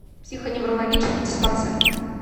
психоневрологический диспансер